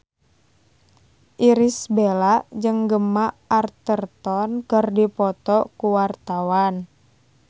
Irish Bella jeung Gemma Arterton keur dipoto ku wartawan